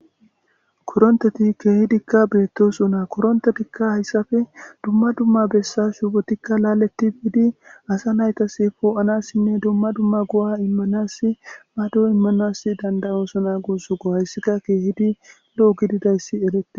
koronteti keehidikka beettoso na korontedikka hayssafe dumma dumma bessa shubotikka laaletti biidi asa naytas poo7anassinne dumma dumma go7a immanasi mado immanas dandayoosona guussu go hayssika keehidi lo7o gididayssi elete